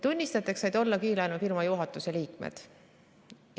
Tunnistajateks said olla kiirlaenufirma juhatuse liikmed.